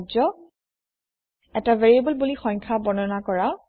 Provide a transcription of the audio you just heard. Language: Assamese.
কাৰ্য্য এটা ভেৰিয়েবোলবুলি সংখ্যা বৰ্ণনা কৰা